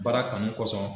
Baara kanu kosɔn